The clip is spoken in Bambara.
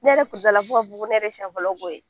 Ne yɛrɛ kun fɔ ko ne yɛrɛ siɲɛ fɔlɔ ko ye.